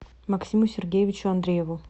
максиму сергеевичу андрееву